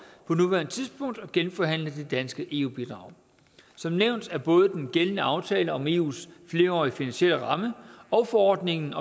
at genforhandle det danske eu bidrag som nævnt er både den gældende aftale om eus flerårige finansielle ramme og forordningen